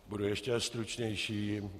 Budu ještě stručnější.